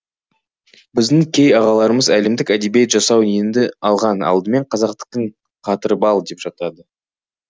біздің кей ағаларымыз әлемдік әдебиет жасау неңді алған алдымен қазақтікін қатырып ал деп жатады